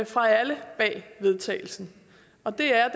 fra alle bag vedtagelsen og det er